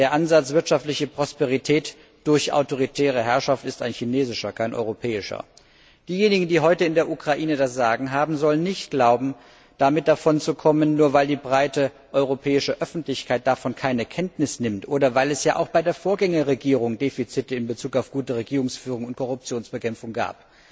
Der Ansatz wirtschaftliche Prosperität durch autoritäre Herrschaft ist ein chinesischer, kein europäischer. Diejenigen, die heute in der Ukraine das Sagen haben, sollen nicht glauben, damit davonzukommen, nur weil die breite europäische Öffentlichkeit davon keine Kenntnis nimmt oder weil es ja auch bei der Vorgängerregierung Defizite in Bezug auf gute Regierungsführung und Korruptionsbekämpfung gab.